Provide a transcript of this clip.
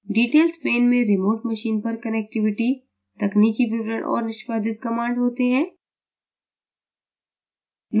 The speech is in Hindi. details pane में remote machine पर connectivity तकनीकी विवरण और निष्पादित commands होते हैं